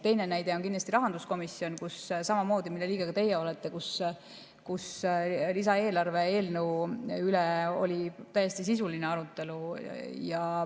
Teine näide on kindlasti rahanduskomisjon, mille liige ka teie olete, kus lisaeelarve eelnõu üle oli samamoodi täiesti sisuline arutelu.